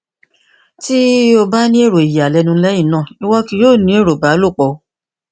ti o ba ni ero iyalẹnu lẹhinna iwọ kii yoo ni ero ìbálòpọ